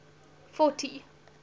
fourty